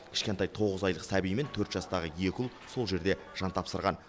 кішкентай тоғыз айлық сәби мен төрт жастағы екі ұл сол жерде жан тапсырған